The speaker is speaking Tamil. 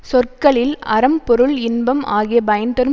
சொற்களில் அறம் பொருள் இன்பம் ஆகிய பயன்தரும்